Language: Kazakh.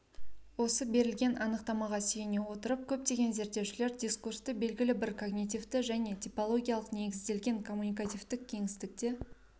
осы берілген анықтамаға сүйене отырып көптеген зерттеушілер дискурсты белгілі бір когнитивті және типологиялық негізделген коммуникативтік кеңістікте